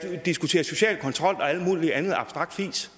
diskutere social kontrol og alt muligt andet abstrakt fis